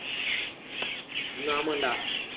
இன்ன ஆமாண்டா